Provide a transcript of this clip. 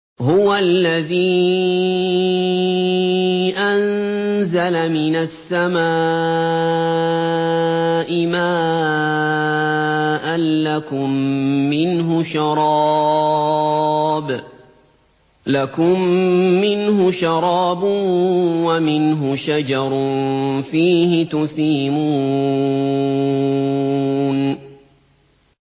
هُوَ الَّذِي أَنزَلَ مِنَ السَّمَاءِ مَاءً ۖ لَّكُم مِّنْهُ شَرَابٌ وَمِنْهُ شَجَرٌ فِيهِ تُسِيمُونَ